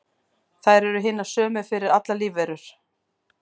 þær eru hinar sömu fyrir allar lífverur